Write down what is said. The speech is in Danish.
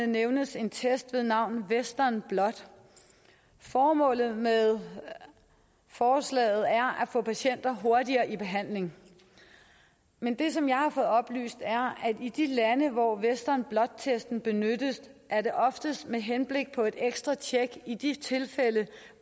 nævnes en test ved navn western blot formålet med forslaget er at få patienter hurtigere i behandling men det som jeg har fået oplyst er at i de lande hvor western blot testen benyttes er det oftest med henblik på et ekstra tjek i de tilfælde